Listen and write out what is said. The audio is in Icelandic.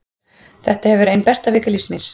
Þetta hefur verið ein besta vika lífs míns.